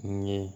N ye